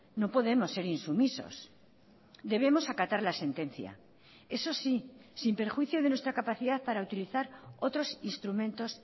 no podemos ser insumisos debemos acatar la sentencia eso sí sin perjuicio de nuestra capacidad para utilizar otros instrumentos